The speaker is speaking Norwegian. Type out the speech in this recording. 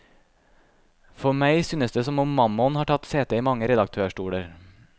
For meg synes det som om mammon har tatt sete i mange redaktørstoler.